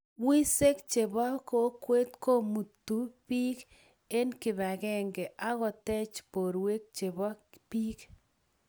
Wiseek che bo kokwee komutuu biik eng kibakenge akotech borwe che bo biik.